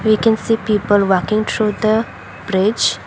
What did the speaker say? we can see people walking through the bridge.